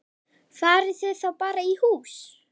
Farið þið þá bara í hús?